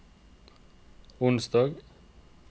onsdag